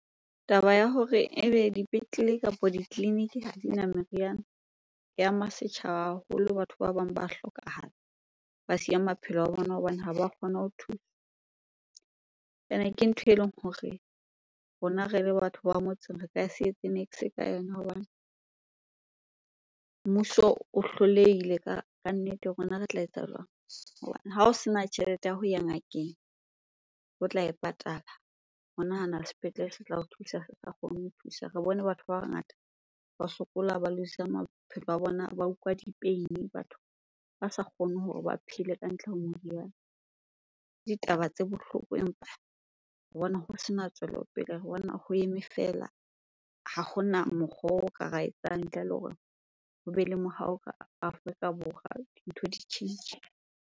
Taba ya hore ebe dipetlele kapa ditleliniki ha dina meriana e ama setjhaba haholo, batho ba bang ba hlokahala ba siya maphelo a bona hobane ha ba kgona ho thuswa. Ene ke ntho eleng hore rona re le batho ba motseng re ka se etse niks ka yona hobane mmuso o hlolehile ka kannete, rona re tla etsa jwang? Hobane ha o sena tjhelete ya ho ya ngakeng o tla e patala, o nahana le sepetlele se tla o thusa sa kgone ho thusa. Re bone batho ba bangata ba sokola, ba lose-er maphelo a bona, ba utlwa di-pain-e, batho ba sa kgone hore ba phele ka ntle ho moriana. Ditaba tse bohloko empa re bona ho sena tswelopele, re bona ho eme feela. Ha hona mokgwa oo re ka ra etsang ntle le hore hobe le ka Afrika Borwa, ntho di tjhentjhe.